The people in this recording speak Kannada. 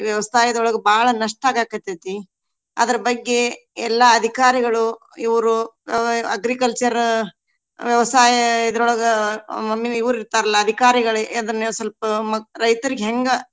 ವ್ಯವಸಾಯದೊಳಗ ಬಾಳ ನಷ್ಟ ಆಗಾಕತ್ತೇತಿ. ಅದರ ಬಗ್ಗೆ ಎಲ್ಲಾ ಅಧಿಕಾರಿಗಳು ಇವ್ರು agriculture ವ್ಯವಸಾಯ ಇದ್ರೋಳಗ main ಇವ್ರ ಇರ್ತಾರ್ಲಾ ಅಧಿಕಾರಿಗಳೆ ಅದನ್ನ ಸ್ವಲ್ಪ ಮ~ ರೈತ್ರಿಗ ಹೆಂಗ.